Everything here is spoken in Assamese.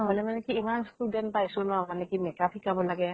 হলে মানে কি ইমান student পাইছো ন মানে কি makeup শিকাব লাগে